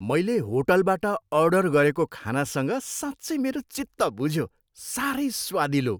मैले होटलबाट अर्डर गरेको खानासँग साँच्चै मेरो चित्त बुझ्यो। साह्रै स्वादिलो!